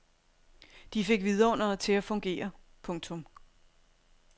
De fik vidunderet til at fungere. punktum